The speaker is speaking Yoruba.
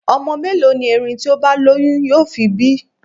Ọmọ mẹ́lòó ni erin tí ó bá lóyún yóò fi bí?